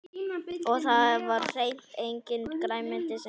Og það var hreint enginn græningi sem hreppti.